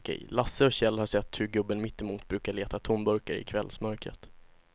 Lasse och Kjell har sett hur gubben mittemot brukar leta tomburkar i kvällsmörkret.